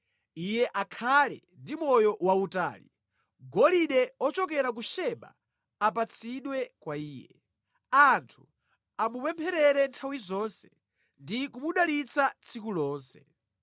Iye akhale ndi moyo wautali; golide ochokera ku Seba apatsidwe kwa iye. Anthu amupempherere nthawi zonse ndi kumudalitsa tsiku lonse.